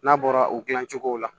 N'a bɔra u dilan cogo la